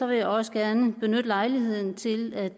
vil jeg også gerne benytte lejligheden til at